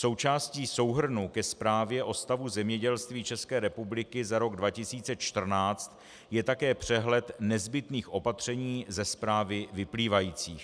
Součástí souhrnu ke Zprávě o stavu zemědělství České republiky za rok 2014 je také přehled nezbytných opatření ze zprávy vyplývajících.